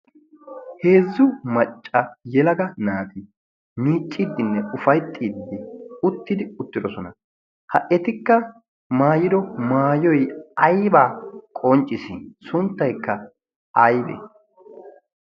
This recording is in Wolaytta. heezzu macca yelaga naati miicciiddinne ufayttiiddi uttidi uttidosona ha etikka maayiro maayoy aybaa qonccis sunttaykka aybee